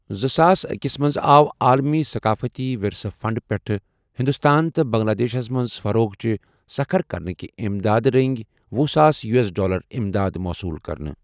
زٕساس اکس منٛز آو ،عالمی ثقافٔتی ورثہ فنٛڈ پیٹھہٕ ہِنٛدوستان تہ بنٛگلہ دیشس منز فروغچہِ سكھر كرنٕكہِ اِمدادٕ رنگہِ وُہ ساس یو ایس ڈالر امداد موصوٗل كرنہٕ ۔